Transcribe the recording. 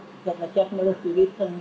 gefnar upp í